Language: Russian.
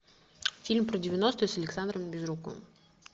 фильм про девяностые с александром безруковым